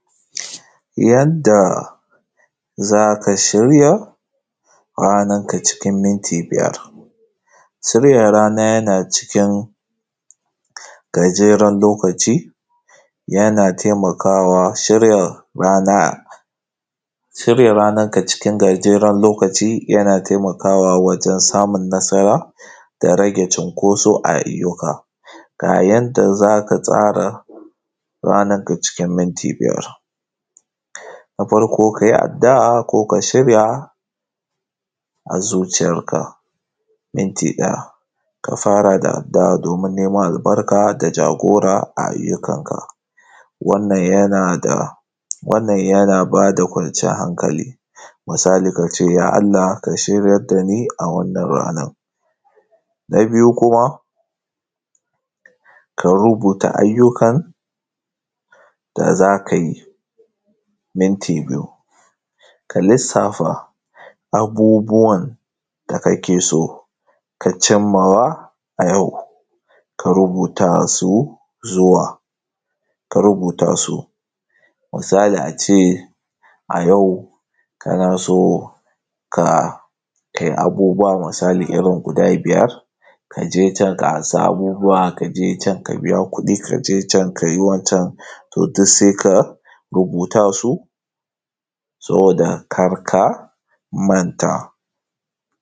Yadda za ka shirya, ranarka cikin minti biyar. Shirya rana yana cikin gajeran lokaci. Yana taimakawa shirya rana, shirya ranarka cikin gajeran lokaci yana taimakawa wajen samun nasara, da rage cunkoso a ayyuka. Ga yanda za ka tsara ranarka cikin minti biyar: Na farko, ka yi addu'a ko ka shirya a zuciyarka, minti ɗaya. Ka fara da addu'a domin neman albarka da jagora a ayyukanka. Wannan yana da, wannan yana ba da kwanciyar hankali. Misali, ka ce: ‘Ya Allah ka shiryar da ni a wannan ranan. Na biyu kuma, ka rubuta ayyukan da za ka yi, minti biyu. Ka lissafa abubuwan, da kake so ka cim ma wa, a yau, ka rubuta su, zuwa, ka rubuta su. Misali a ce, a yau kana so ka, kai abubuwa misali irin guda biyar, ka je can ka amsa abubuwa, ka je can ka biya kuɗi, ka je can ka yi wancan, to duk sai ka rubuta su, saboda kar ka manta.